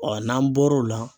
n'an bɔr'o la